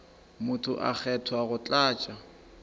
motho a kgethwa go tlatša